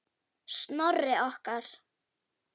Snorri okkar.